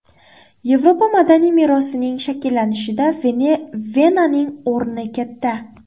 Yevropa madaniy merosining shakllanishida Venaning o‘rni katta.